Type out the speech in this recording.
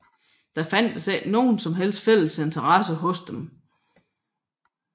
Der fandtes ikke nogen som helst fælles interesse hos dem